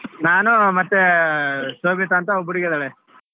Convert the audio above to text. ನಾನು ಮತ್ತೆ ಶೋಬೀತಾ ಅಂತ ಒಬ್ಬ್ ಹುಡುಗಿ ಇದಾಳೆ.